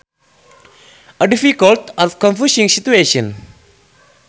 A difficult or confusing situation